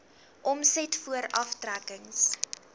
omset voor aftrekkings